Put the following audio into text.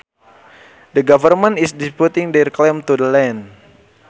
The government is disputing their claim to the land